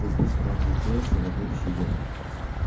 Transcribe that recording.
ты быстро огляделся вокруг себя